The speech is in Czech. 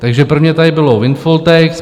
Takže prvně tady bylo windfall tax.